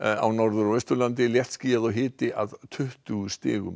á Norður og Austurlandi léttskýjað og hiti að tuttugu stigum